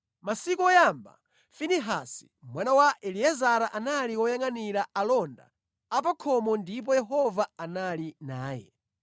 Masiku oyamba Finehasi mwana wa Eliezara anali woyangʼanira alonda apakhomo ndipo Yehova anali naye.